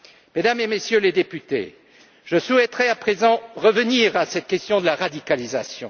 Mesdames et Messieurs les députés, je souhaiterais à présent revenir à la question de la radicalisation.